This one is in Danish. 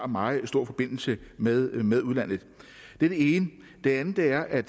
meget stor forbindelse med med udlandet det er det ene det andet er at